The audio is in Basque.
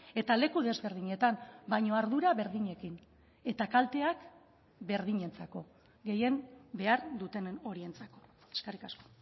eta leku desberdinetan baina ardura berdinekin eta kalteak berdinentzako gehien behar dutenen horientzako eskerrik asko